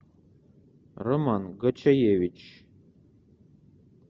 роман гочаевич